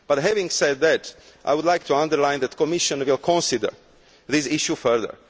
Having said that, I would like to underline that the Commission will consider this issue further.